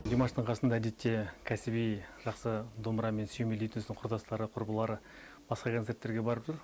димаштың қасында әдетте кәсіби жақсы домбырамен сүйемелдейтін өзінің құрдастары құрбылары басқа концерттерге барып жүр